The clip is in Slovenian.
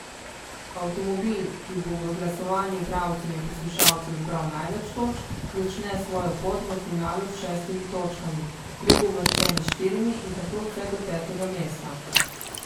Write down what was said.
Avtomobil, ki bo v glasovanju bralcev in poslušalcev zbral največ točk, začne svojo pot v finalu s šestimi točkami, drugouvrščeni s štirimi in tako vse do petega mesta.